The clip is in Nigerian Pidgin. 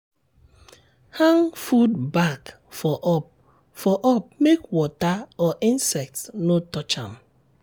hang food bag for up for up make water or insects no touch am.